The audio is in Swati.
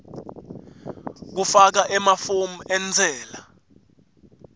kufaka emafomu entsela